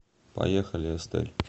поехали эстель